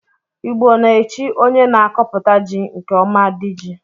Igbo na-echi onye na-akọputa ji nke ọma 'di ji'